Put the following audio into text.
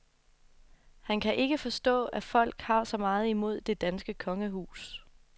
Han kan ikke forstå, at folk har så meget imod det danske kongehus.